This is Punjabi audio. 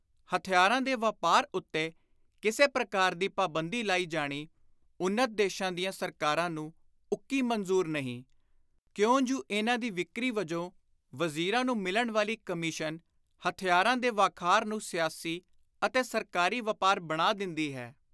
ਹਥਿਆਰਾਂ ਦੇ ਵਾਪਾਰ ਉੱਤੇ ਕਿਸੇ ਪ੍ਰਕਾਰ ਦੀ ਪਾਬੰਦੀ ਲਾਈ ਜਾਣੀ ਉੱਨਤ ਦੇਸ਼ਾਂ ਦੀਆਂ ਸਰਕਾਰਾਂ ਨੂੰ ਉੱਕੀ ਮਨਜ਼ੁਰ ਨਹੀਂ, ਕਿਉਂ ਜੁ ਇਨ੍ਹਾਂ ਦੀ ਵਿਕਰੀ ਵਿਚੋਂ ਵਜ਼ੀਰਾਂ ਨੂੰ ਮਿਲਣ ਵਾਲੀ ਕਮਿਸ਼ਨ ਹਥਿਆਰਾਂ ਦੇ ਵਾਖਾਰ ਨੂੰ ਸਿਆਸੀ ਅਤੇ ਸਰਕਾਰੀ ਵਾਪਾਰ ਬਣਾ ਦਿੰਦੀ ਹੈ।